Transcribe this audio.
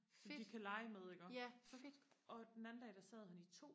de kan lege med iggå og den dag der sad han i to